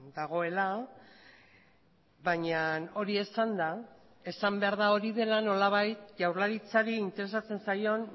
dagoela baina hori esanda esan behar da hori dela nolabait jaurlaritzari interesatzen zaion